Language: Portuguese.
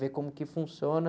Ver como que funciona...